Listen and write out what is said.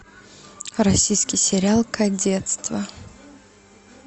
российский сериал кадетство